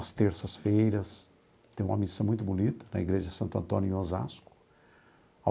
Às terças-feiras tem uma missa muito bonita na igreja Santo Antônio em Osasco.